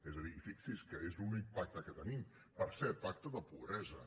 és a dir fixi’s que és l’únic pacte que tenim per cert pacte de pobresa